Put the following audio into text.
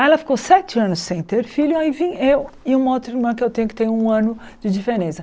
Aí ela ficou sete anos sem ter filho, aí vim eu e uma outra irmã que eu tenho, que tem um ano de diferença.